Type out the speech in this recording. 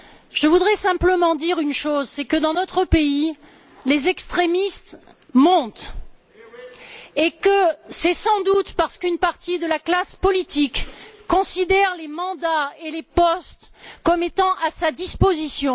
Je voudrais simplement dire une chose, c'est que, dans notre pays, les extrémistes montent et que c'est sans doute parce qu'une partie de la classe politique considère les mandats et les postes comme étant à sa disposition.